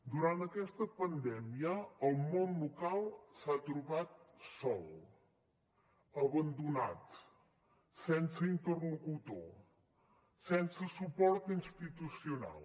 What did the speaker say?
durant aquesta pandèmia el món local s’ha trobat sol abandonat sense interlocutor sense suport institucional